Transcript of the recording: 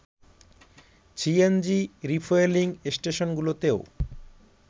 CNG refuelling স্টেশনগুলোতেও